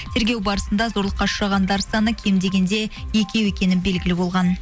тергеу барысында зорлыққа ұшырағандар саны кем дегенде екеу екені белгілі болған